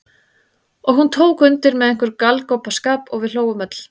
Og hún tók undir með einhverjum galgopaskap og við hlógum öll.